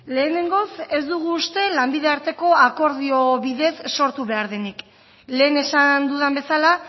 lehenengoz ez dugu uste lanbide arteko akordio bidez sortu behar denik lehen esan dudan bezala